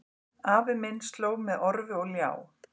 Afi minn slóg með orfi og ljá